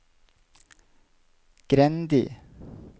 Grendi